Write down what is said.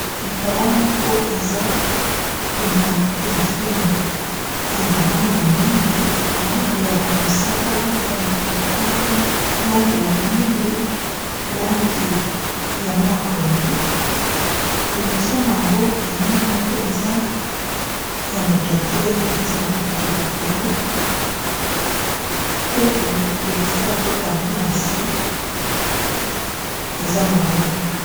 Ekala moko eza na efelo ya balangi mingi, langi ya mosaka, langi ya motane, lange ya mwindu, langi ya maya pondu. Liboso na yango elili moko eza ya moto atelemi atiye maboko likolo pe liboso okotango na se eza mabele.